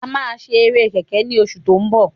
A máa ṣe eré kẹ̀kẹ́ ní oṣù tó ń bọ̀